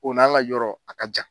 O n'an ka yɔrɔ a ka jan.